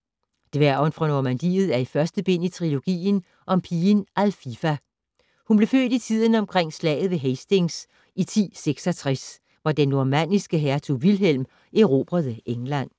Dværgen fra Normandiet er første bind i trilogien om pigen Alfifa. Hun blev født i tiden omkring slaget ved Hastings i 1066, hvor den normanniske hertug Vilhelm erobrede England.